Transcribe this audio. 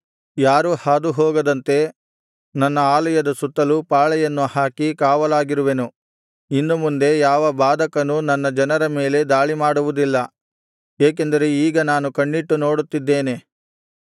ಯಾರೂ ಹಾದುಹೋಗದಂತೆ ನನ್ನ ಆಲಯದ ಸುತ್ತಲು ಪಾಳೆಯನ್ನು ಹಾಕಿ ಕಾವಲಾಗಿರುವೆನು ಇನ್ನು ಮುಂದೆ ಯಾವ ಬಾಧಕನೂ ನನ್ನ ಜನರ ಮೇಲೆ ದಾಳಿಮಾಡುವುದಿಲ್ಲ ಏಕೆಂದರೆ ಈಗ ನಾನು ಕಣ್ಣಿಟ್ಟು ನೋಡುತ್ತಿದ್ದೇನೆ